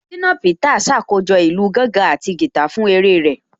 Ṣínà Peters ṣàkójọ̀ ìlù gángan àti guitar fún eré rẹ̀